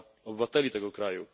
obywateli tego kraju.